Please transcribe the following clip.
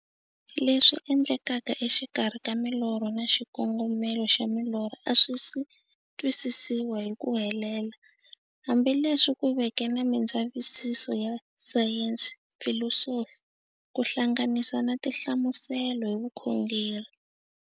Leswi endlekaka exikarhi ka milorho na xikongomelo xa milorho a swisi twisisiwa hi ku helela, hambi leswi ku veke na mindzavisiso ya sayensi, filosofi ku hlanganisa na tinhlamuselo hi vukhongori.